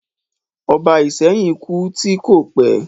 Ọba Ìsẹ́yìn kú tí kò pẹ̀